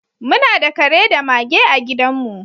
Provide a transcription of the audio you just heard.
Muna da kare da mage a gidanmu.